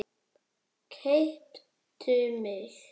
Keyptu mig?